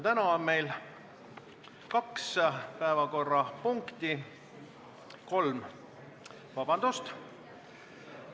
Täna on meil kaks päevakorrapunkti ... vabandust, kolm.